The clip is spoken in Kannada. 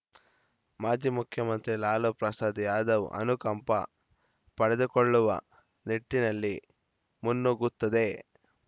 ಮಾಜಿ ಮುಖ್ಯಮಂತ್ರಿ ಲಾಲೂ ಪ್ರಸಾದ್‌ ಯಾದವ್‌ ಅನುಕಂಪ ಪಡೆದುಕೊಳ್ಳುವ ನಿಟ್ಟಿನಲ್ಲಿ ಮುನ್ನುಗ್ಗುತ್ತದೆ